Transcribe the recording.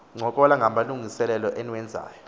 ncokola ngamalungiselelo eniwenzayo